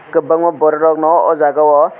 kobangma borok no ojaga o.